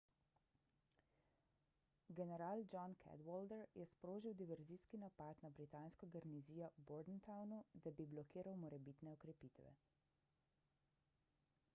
general john cadwalder je sprožil diverzijski napad na britansko garnizijo v bordentownu da bi blokiral morebitne okrepitve